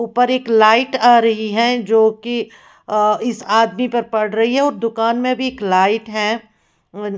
ऊपर एक लाइट आ रही है जो कि आ इस आदमी पर पड़ रही है और दुकान में भी लाइट है हम्म--